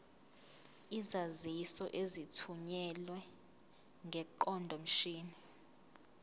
izaziso ezithunyelwe ngeqondomshini